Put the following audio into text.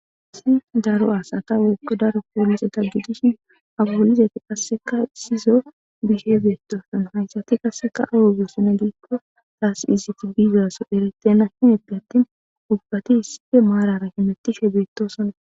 Haysi daro asata woykon poliseta gidishin ha poliseti qaseka issison bishe betosona haysati qaseka awa bizona giko tas izeti bizasoy eretena ubbati issippe marara hemutishe betosona